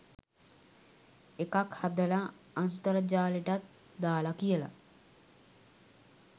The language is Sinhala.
එකක් හදලා අන්තර්ජාලෙටත් දාලා කියලා